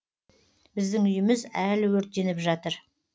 біздің үйіміз әлі өртеніп жатыр